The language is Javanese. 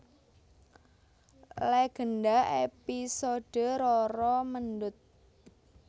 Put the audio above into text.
Legenda episode Roro Mendut